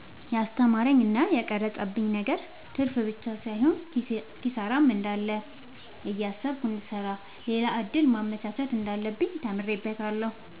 የስተማረኝ እና የቀረፀብኝ ነገር ትርፍብቻ ሳይሆን ኪሳራም እንዳለ እያሰብኩ እንድሰራ ሌላ እድል ማመቻቸት እንዳለብኝ ተምሬበታለሁ።